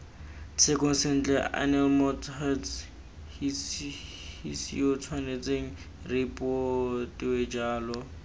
tshekong sentle aneelemots huts hisiyootshwanetsengripotoeejalo